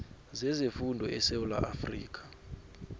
zezefundo esewula afrika